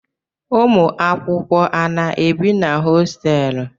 Ụmụakwụkwọ a na-ebi na hositelu?